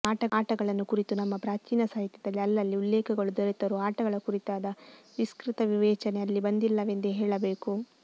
ಆಟಗಳನ್ನು ಕುರಿತು ನಮ್ಮ ಪ್ರಾಚೀನ ಸಾಹಿತ್ಯದಲ್ಲಿ ಅಲ್ಲಲ್ಲಿ ಉಲ್ಲೇಖಗಳು ದೊರೆತರೂ ಆಟಗಳ ಕುರಿತಾದ ವಿಸ್ತೃತ ವಿವೇಚನೆ ಅಲ್ಲಿ ಬಂದಿಲ್ಲವೆಂದೇ ಹೇಳಬೇಕು